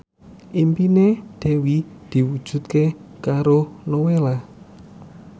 impine Dewi diwujudke karo Nowela